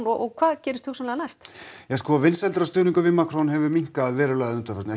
og hvað gerist næst vinsældir og stuðningur við Macron hefur minnkað verulega að undanförnu